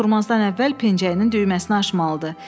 Oturmazdan əvvəl pençəyinin düyməsini açmalıdır.